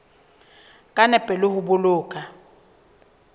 ka nepo le ho boloka